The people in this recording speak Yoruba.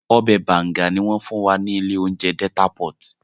Ọbẹ̀ banga ni wọ́n fún wa ní ilé oúnjẹ Delta pot